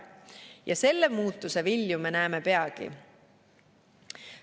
Ja selle muutuse vilju me näeme peagi.